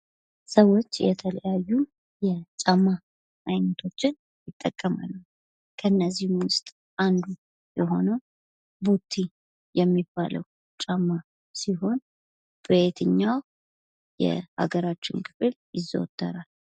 ሰዎች የተለያዩ የጫማ አይነቶችን ይጠቀማሉ ። ከእነዚህም ውስጥ አንዱ የሆነው ቦቲ የሚባለው ጫማ ሲሆን በየትኛው የሀገራችን ክፍል ይዘወተራል ?